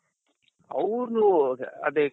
ಅವ್ರು ಅದೇ